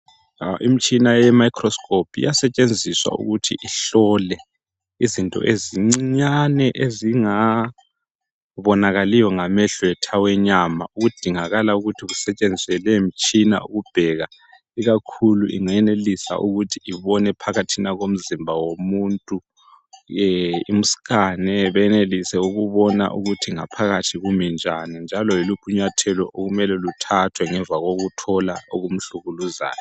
Imitshina yemicrosope iyasetshenziswa ukuthi ihlole izinto ezincinyane ezingabonakaliyo ngamehlo ethu awenyama. Kudingakala ukusetshenziswe leyi mitshina ukubheka ikakhulu ingayenelisa ukuthi ibone phakathi komzimba womuntu imscane benelise ukubona ukuthi ngaphakathi kumi njani njalo yiliphi inyathelo okumele lithathwe ngemva kokuthola okumhlukuluzayo.